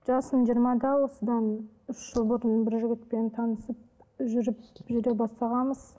жасым жиырмада осыдан үш жыл бұрын бір жігітпен танысып жүріп жүре бастағанбыз